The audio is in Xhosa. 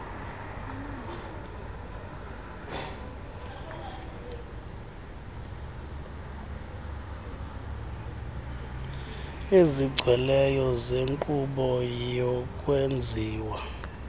ezigcweleyo zenkqubo yokwenziwa